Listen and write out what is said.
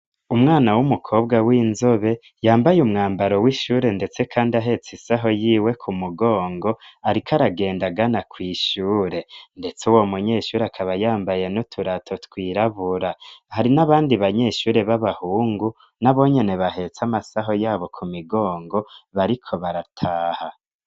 umwana w'umukobwa w'inzobe yambaye umwambaro w'ishure ndetse kandi ahetse isaho yiwe kumugongo ariko aragendagana kw' ishure ndetse uwo munyeshure akaba yambaye n'uturato twirabura hari n'abandi banyeshure b'abahungu n'abonyene bahetse amasaho yabo kumigongo bariko barataha